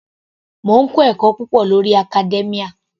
Mò ń kọ́ ẹ̀kọ́ púpọ̀ lórí academia.